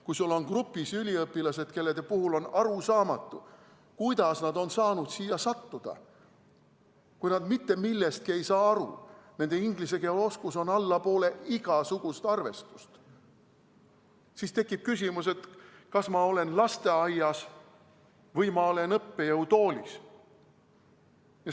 Kui sul on grupis üliõpilased, kelle puhul on arusaamatu, kuidas nad on saanud siia sattuda, kui nad mitte millestki aru ei saa, nende inglise keele oskus on allapoole igasugust arvestust, siis tekib küsimus, kas ma olen lasteaias või ma olen õppejõutoolis.